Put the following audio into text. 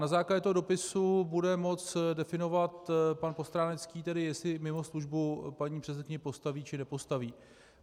Na základě toho dopisu bude moct definovat pan Postránecký tedy, jestli mimo službu paní předsedkyni postaví, či nepostaví.